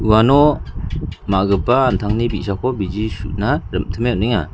uano ma·gipa an·tangni bi·sako bigi su·na rim·time on·enga.